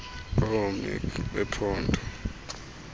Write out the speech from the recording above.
oo mec bephondo